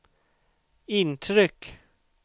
intryck